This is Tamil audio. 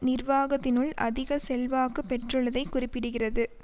நிர்வாகத்தினுள் அதிக செல்வாக்கு பெற்றுள்ளதை குறிப்பிடுகிறது